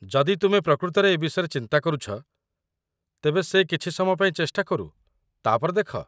ଯଦି ତୁମେ ପ୍ରକୃତରେ ଏ ବିଷୟରେ ଚିନ୍ତା କରୁଛ ତେବେ ସେ କିଛି ସମୟ ପାଇଁ ଚେଷ୍ଟା କରୁ, ତା'ପରେ ଦେଖ।